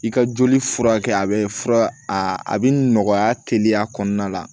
I ka joli furakɛ a be fura a bi nɔgɔya teliya kɔnɔna la